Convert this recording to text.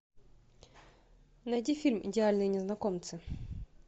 найди фильм идеальные незнакомцы